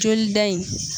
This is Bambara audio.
Jolida in